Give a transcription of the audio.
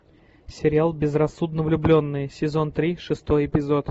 сериал безрассудно влюбленные сезон три шестой эпизод